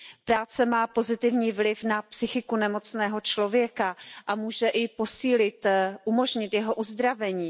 Práce má pozitivní vliv na psychiku nemocného člověka a může i posílit, umožnit jeho uzdravení.